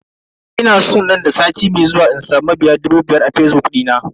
Ina san nan da sati mai zuwa in samu mabiya dubu biyar a fazbuk dina.